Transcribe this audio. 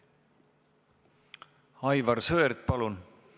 Aivar Sõerd, palun!